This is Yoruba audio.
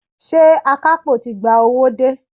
Ṣé akapo ti gba owó dé?